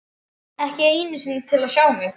Ekki einu sinni til að sjá mig.